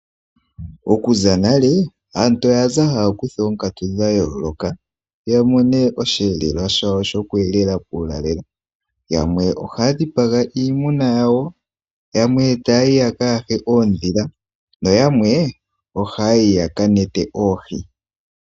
Okuza nale aantu oyaza haya kutha oonkatu dha yooloka ya mone osheelelwa shawo shoku elela uulalelo. Yamwe ohaya dhipaga iimuna yawo yamwe taya yi ya ka yahe oondhila. Na yamwe ohaya yi ya ka kwate oohi.